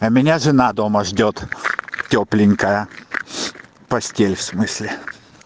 а меня жена дома ждёт тёпленькая постель в смысле